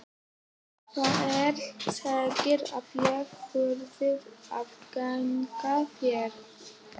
Hver segir að ég þurfi að gegna þér?